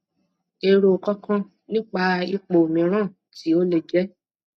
ero kan kan nipa ipo miran ti o le je